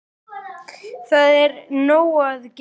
Það er nóg að gera!